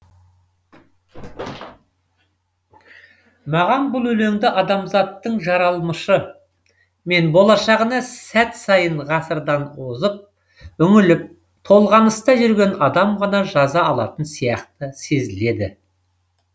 маған бұл өлеңді адамзаттың жаралмышы мен болашағына сәт сайын ғасырдан озып үңіліп толғаныста жүрген адам ғана жаза алатын сияқты сезіледі